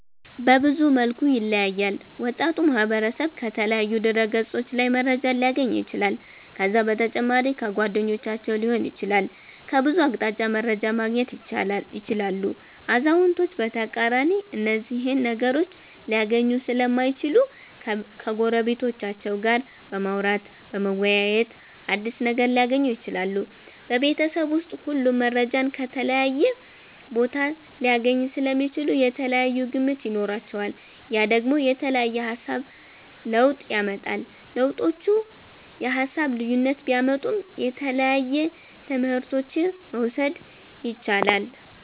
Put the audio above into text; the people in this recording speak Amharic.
በብዙ መልኩ ይለያያል ወጣቱ ማህበረሰብ ከተለያዩ ድህረ ገፆች ላይ መረጃን ሊያገኝ ይችላል ከዛ በተጨማሪ ከጓደኞቻቸዉ ሊሆን ይችላል ከብዙ አቅጣጫ መረጃን ማገኘት ይችላሉ አዛዉነቶች በተቃራኒ እነዚህን ነገሮች ሊያገኙ ሰለማይችሉ ከጎረቤቶቻቸዉ ጋር በማዉራተ በመወያየት አዲስ ነገር ሊያገኙ ይችላሉ። ቤበተሰብ ዉስጥ ሁሉም መረጃን ከተለያየ ቦታ ሊያገኙ ሰለሚችሉ የተለያየ ግምት ይኖራቸዋል ያ ደግሞ የተለያየ የሃሳብ ለዉጥ ያመጣል። ለዉጦቹ የሃሳብ ልዩነት ቢያመጡም የተለያየ ትምህረቶችን መዉሰድ የቻላል